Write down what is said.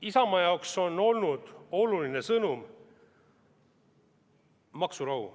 Isamaa jaoks on olnud oluline sõnum maksurahu.